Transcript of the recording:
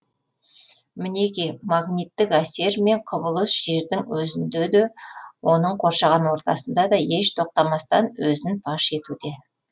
мінеки магниттік әсер мен құбылыс жердің өзінде де оның қоршаған ортасында да еш тоқтамастан өзін паш етуде